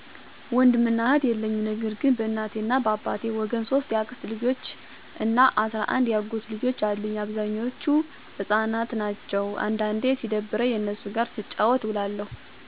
ወንድም እና እህት የለኝም ነገር ግን በእናቴ እና በአባቴ ወገን 3 የአክስት ልጆች እና 11 የአጎት ልጆች አሉኝ። አብዛኞቹ ህፃናት ናቸው። አንዳንዴ ሲደብረኝ እነሱ ጋር ስጫወት እውላለሁ።